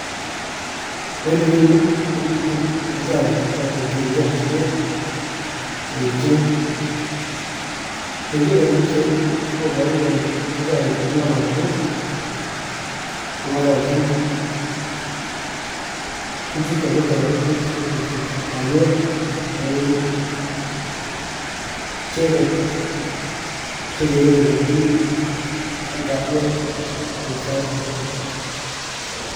en ireyu komiten ofisaek choton cheribe kalyet, cheechen ,ing'eger en bichai ni koboru kole ofisaek chu kong'ololdos kong'ololjin bik, bichuton kotoretech en ripset ab kalyet nepo emet, icheget, chegere kole kimi en kalyet en sait agetugul.